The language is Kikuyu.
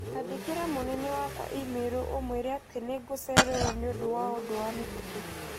Andĩkĩra mũnene wakwa i-mīrū ũmũire atĩ nĩ ngũcererwo nĩ ũndũ wa ũndũ wa mĩtũkĩ